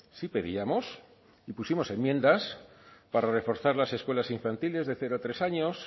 sí pedíamos y pusimos enmiendas para reforzar las escuelas infantiles de cero a tres años